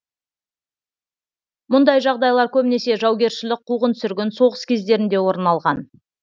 мұндай жағдайлар көбінесе жаугершілік қуғын сүргін соғыс кездерінде орын алған